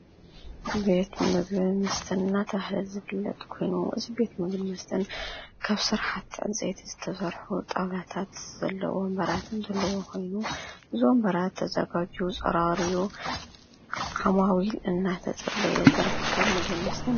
ቤት ምግብን መስተን እናተባሃለ ዝፍለጥ ኮይኑ እዚ ቤት ምግብን መስተን ካብ ስራሕቲ ዕንፀይቲ ዝተሰርሑ ጣውላታት ዘለዎ ወንበራት ኮይኑ እዚ ወንበራት ተዘጋጅዩ፣ ፀራርዩ ዓማዊል እናተፀበየ ዝርከብ ቤት ምግብን መስተን